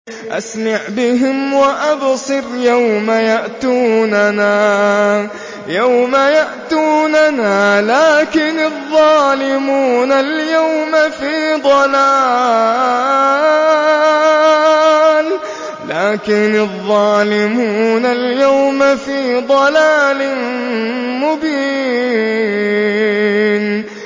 أَسْمِعْ بِهِمْ وَأَبْصِرْ يَوْمَ يَأْتُونَنَا ۖ لَٰكِنِ الظَّالِمُونَ الْيَوْمَ فِي ضَلَالٍ مُّبِينٍ